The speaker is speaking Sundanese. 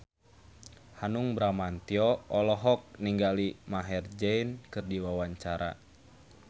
Hanung Bramantyo olohok ningali Maher Zein keur diwawancara